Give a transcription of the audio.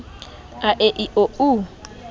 a e i o u